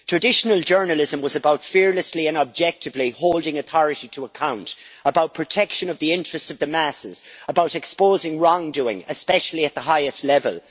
Traditional journalism was about fearlessly and objectively holding authority to account, about protection of the interests of the masses, about exposing wrongdoing, especially at the highest level.